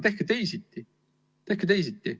Tehke teisiti!